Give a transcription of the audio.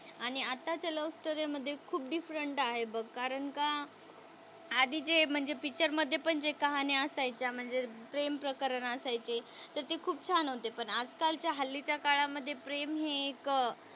आणि आत्ताच्या love story मध्ये खूप डिफरेंट आहे बघ कारण का आधीचे म्हणजे पिक्चर मध्ये पण जे कहाणी असायच्या म्हणजे प्रेम प्रकरण असायचे तर ते खूप छान होते पण आजकाल च्या हल्लीच्या काळामध्ये प्रेम हे एक,